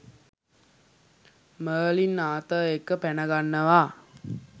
Merlin Arthur එක්ක පැනගන්නවා.